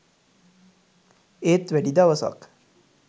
ඒත් වැඩි දවසක්